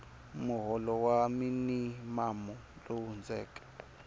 muholo wa minimamu lowu hundzeke